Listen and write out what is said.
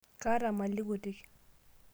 Kaata mali kutik.